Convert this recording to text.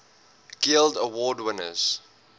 guild award winners